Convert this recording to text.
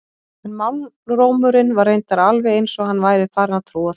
En málrómurinn var reyndar alveg eins og hann væri farinn að trúa því.